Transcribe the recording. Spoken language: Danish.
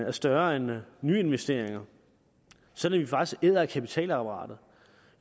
er større end nyinvesteringerne sådan at vi faktisk æder af kapitalapparatet